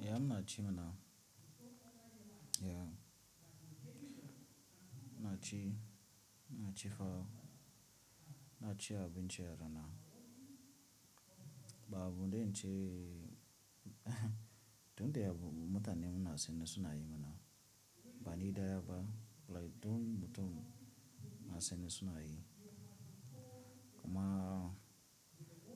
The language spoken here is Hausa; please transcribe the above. Yamma ce mana. Yaa, ina ci, na ci fa. Na ci abincin rana. Ba abun zan ce tunda deya bu mutane mun na sane suna yi mana, Bani daya ba, like mutum ma nasani suna yi. Kuma,